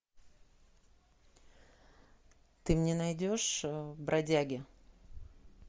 ты мне найдешь бродяги